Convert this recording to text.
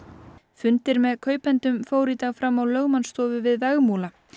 fundir með kaupendum fóru í dag fram á lögmannstofu við Vegmúla